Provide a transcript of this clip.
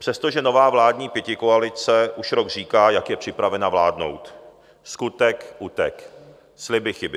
Přestože nová vláda pětikoalice už rok říká, jak je připravena vládnout, skutek utek, sliby chyby.